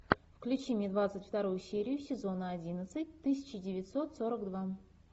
включи мне двадцать вторую серию сезона одиннадцать тысяча девятьсот сорок два